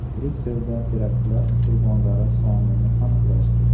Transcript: Bryusselda teraktlar qurbonlari sonini aniqlashdi.